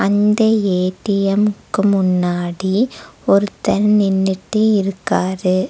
இந்த ஏ_டி_எம்க்கு முன்னாடி ஒருத்தர் நின்னுட்டு இருக்காரு.